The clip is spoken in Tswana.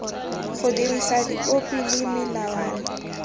go dirisa dipopi le melawana